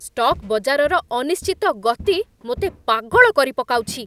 Stock ବଜାରର ଅନିଶ୍ଚିତ ଗତି ମୋତେ ପାଗଳ କରିପକାଉଛି!